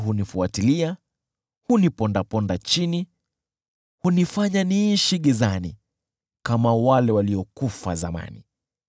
Adui hunifuatilia, hunipondaponda chini; hunifanya niishi gizani kama wale waliokufa zamani.